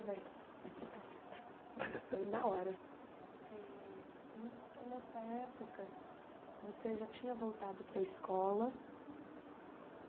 Vai vai trocar a fita na hora eh então, nessa época, você já tinha voltado para a escola.